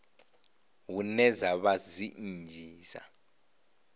hune dza vha dzi nnzhisa